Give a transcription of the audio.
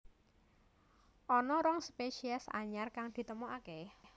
Ana rong spésiés anyar kang ditemokaké